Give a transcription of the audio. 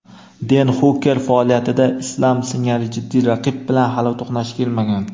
Den Xuker faoliyatida Islam singari jiddiy raqib bilan hali to‘qnash kelmagan.